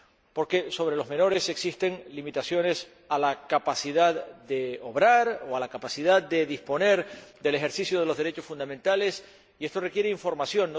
Porque sobre los menores existen limitaciones a la capacidad de obrar o a la capacidad de disponer del ejercicio de los derechos fundamentales, y esto requiere información.